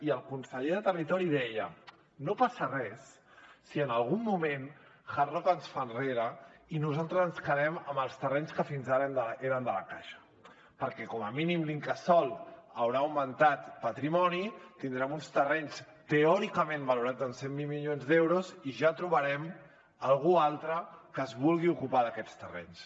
i el conseller de territori deia no passa res si en algun moment hard rock es fa enrere i nosaltres ens quedem amb els terrenys que fins ara eren de la caixa perquè com a mínim l’incasòl haurà augmentat patrimoni tindrem uns terrenys teòricament valorats en cent miler milions d’euros i ja trobarem algú altre que es vulgui ocupar d’aquests terrenys